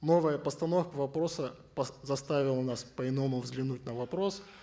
новая постановка вопроса заставила нас по иному взглянуть на вопрос